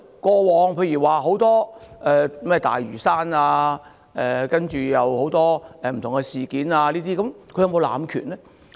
過往，例如在有關大嶼山及很多不同的事件上，她有否濫權呢？